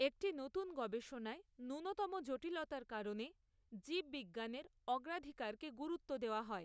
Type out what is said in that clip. একটি নতুন গবেষণায় ন্যূনতম জটিলতার কারণে জীববিজ্ঞানের অগ্রাধিকারকে গুরুত্ব দেওয়া হয়।